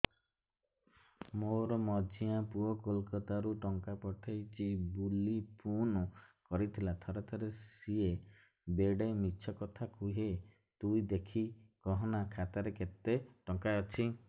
ମୋର ମଝିଆ ପୁଅ କୋଲକତା ରୁ ଟଙ୍କା ପଠେଇଚି ବୁଲି ଫୁନ କରିଥିଲା ଥରେ ଥରେ ସିଏ ବେଡେ ମିଛ କଥା କୁହେ ତୁଇ ଦେଖିକି କହନା ଖାତାରେ କେତ ଟଙ୍କା ଅଛି